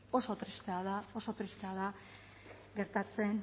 oso tristea da oso tristea da gertatzen